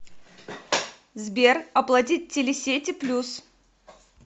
сбер оплатить телесети плюс